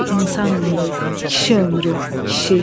Bir insan ömrü, kişi ömrü, kişi.